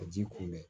Ka ji kun bɛ